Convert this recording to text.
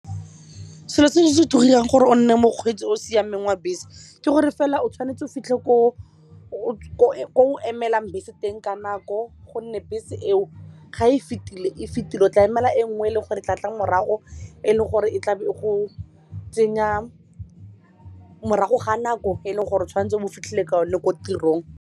Seo se gore o nne mokgweetsi o o siameng wa bese ke gore fela o tshwanetse o fitlhe ko o emelang bese teng ka nako gonne bese eo ga e fetile e fetile o tla emela e nngwe e leng gore tla tla morago e leng gore e tlabe go tsenya morago ga nako e leng gore o tshwantse o bo fitlhile ka one ko tirong.